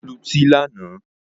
Ó lutí lánàá